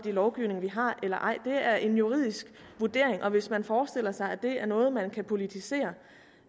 lovgivning vi har eller ej det er en juridisk vurdering og hvis man forestiller sig at det er noget man kan politisere